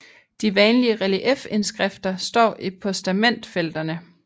De vanlige reliefindskrifter står i postamentfelterne